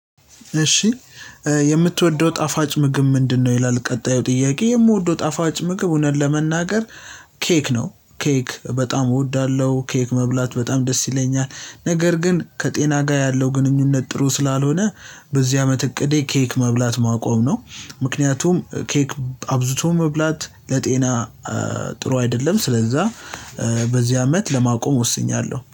እሺ። የምትወደው ጣፋጭ ምግብ ምንድነው? ይላል ቀጣዩ ጥያቄ የምወደው ጣፋጭ ምግብ እውነት ለመናገር። ኬክ ነው ኬክ በጣም እወዳለሁ ኬክ መብላት በጣም ደስ ይለኛል። ነገር ግን ከጤና ጋር ያለው ግንኙነት ጥሩ ስላልሆነ በዚህ አመት እቅዴ ኬክ መብላት ማቆም ነው። ምክንያቱም ኬክ አብዝቶ መብላት ለጤና ጥሩ አይደለም ስለዛ። በዚህ አመት ለማቆም ወስኛለሁ